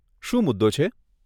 શું મુદ્દો છે?